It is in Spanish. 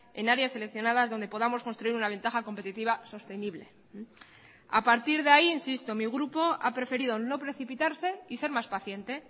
en áreas seleccionadas donde podamos construir una ventaja competitiva sostenible a partir de ahí insisto mi grupo ha preferido no precipitarse y ser más paciente